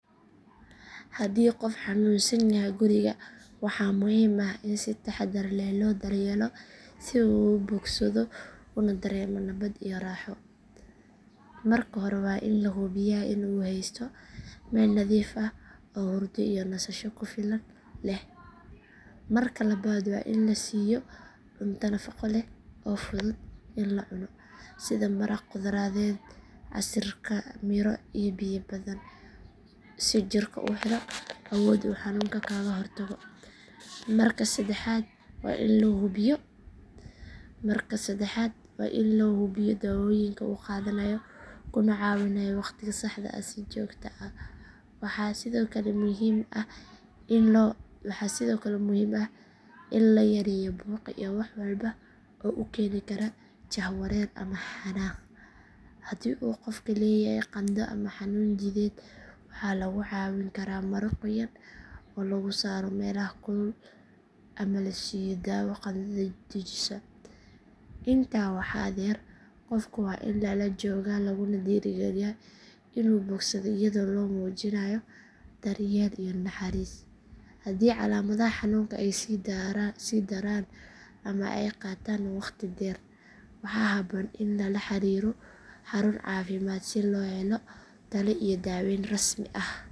Haddii qof xanuunsan yahay guriga waxaa muhiim ah in si taxadar leh loo daryeelo si uu u bogsado una dareemo nabad iyo raaxo. Marka hore waa in la hubiyaa in uu heysto meel nadiif ah oo hurdo iyo nasasho ku filan leh. Marka labaad waa in la siiyo cunto nafaqo leh oo fudud in la cuno sida maraq khudradeed, casiirka miro iyo biyo badan si jirku u helo awood uu xanuunka kaga hortago. Marka saddexaad waa in loo hubiyaa daawooyinka uu qaadanayo kuna caawinayo waqtiga saxda ah si joogto ah. Waxaa sidoo kale muhiim ah in la yareeyo buuqa iyo wax walba oo ku keeni kara jahwareer ama xanaaq. Haddii uu qofka leeyahay qandho ama xanuun jidheed waxaa lagu caawin karaa maro qoyan oo lagu saaro meelaha kulul ama la siiyo daawo qandhada dejisa. Intaa waxaa dheer qofka waa in lala joogaa laguna dhiirrigeliyaa inuu bogsado iyadoo loo muujinayo daryeel iyo naxariis. Haddii calaamadaha xanuunka ay sii daraan ama ay qaataan waqti dheer waxaa habboon in lala xiriiro xarun caafimaad si loo helo talo iyo daaweyn rasmi ah.